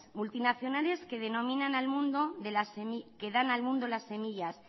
multinacionales que dan al mundo las semillas